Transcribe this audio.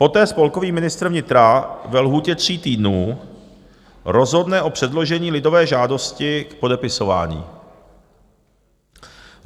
Poté spolkový ministr vnitra ve lhůtě tří týdnů rozhodne o předložení lidové žádosti k podepisování.